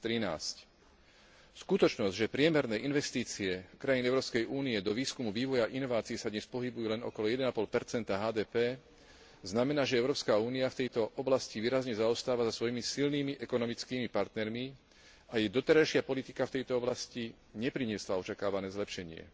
2013. Skutočnosť, že priemerné investície krajín Európskej únie do výskumu, vývoja a inovácií sa dnes pohybujú len okolo 1,5 HDP, znamená, že Európska únia v tejto oblasti výrazne zaostáva za svojimi silnými ekonomickými partnermi a jej doterajšia politika v tejto oblasti nepriniesla očakávané zlepšenie.